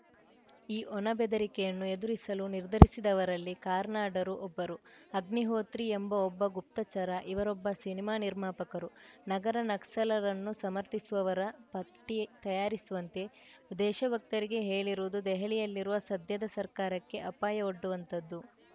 ಈ ಒಣ ಬೆದರಿಕೆಯನ್ನು ಎದುರಿಸಲು ನಿರ್ಧರಿಸಿದವರಲ್ಲಿ ಕಾರ್ನಾಡರು ಒಬ್ಬರು ಅಗ್ನಿಹೋತ್ರಿ ಎಂಬ ಒಬ್ಬ ಗುಪ್ತಚರ ಇವರೊಬ್ಬ ಸಿನಿಮಾ ನಿರ್ಮಾಪಕರು ನಗರ ನಕ್ಸಲರನ್ನು ಸಮರ್ಥಿಸುವವರ ಪಟ್ಟಿತಯಾರಿಸುವಂತೆ ದೇಶಭಕ್ತರಿಗೆ ಹೇಳಿರುವುದು ದೆಹಲಿಯಲ್ಲಿರುವ ಸದ್ಯದ ಸರ್ಕಾರಕ್ಕೆ ಅಪಾಯವೊಡ್ಡುವಂಥದ್ದು